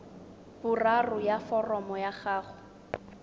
boraro ya foromo ya gago